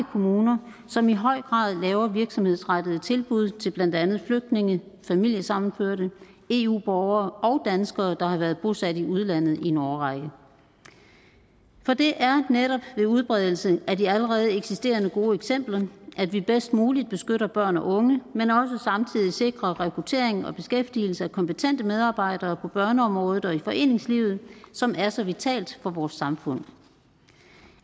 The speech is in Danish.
kommuner som i høj grad laver virksomhedsrettede tilbud til blandt andet flygtninge familiesammenførte eu borgere og danskere der har været bosat i udlandet i en årrække for det er netop ved udbredelse af de allerede eksisterende gode eksempler at vi bedst muligt beskytter børn og unge men også samtidig sikrer rekruttering og beskæftigelse af kompetente medarbejdere på børneområdet og i foreningslivet som er så vitalt for vores samfund